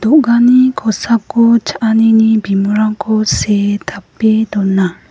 do·gani kosako cha·anini bimingrangko see tape dona.